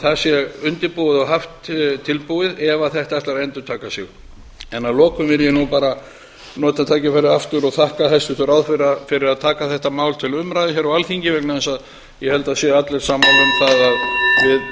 það sé undirbúið og haft tilbúið ef þetta ætlar að endurtaka sig að lokum vil ég bara nota tækifærið aftur og þakka hæstvirtum ráðherra fyrir að taka þetta mál til umræðu á alþingi vegna þess að ég held að það séu allir sammála um það að við